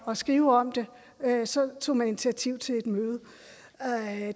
at skrive om det tog man initiativ til et møde